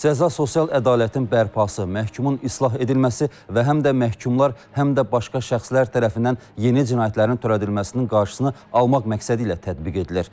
Cəza sosial ədalətin bərpası, məhkumun islah edilməsi və həm də məhkumlar həm də başqa şəxslər tərəfindən yeni cinayətlərin törədilməsinin qarşısını almaq məqsədi ilə tətbiq edilir.